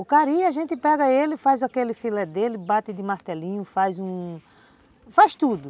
O cari a gente pega ele, faz aquele filé dele, bate de martelinho, faz um... faz tudo.